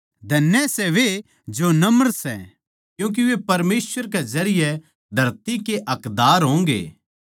धन्य सै वे जो नम्र सै क्यूँके वे परमेसवर के जरिये धरती के हकदार होंगे